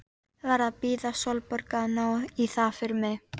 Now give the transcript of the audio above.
Verð að biðja Sólborgu að ná í það fyrir mig.